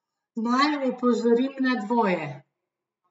Naj opozorim na dvoje.